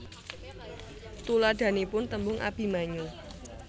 Tuladhanipun tembung Abimanyu